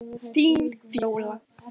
Þín Fjóla.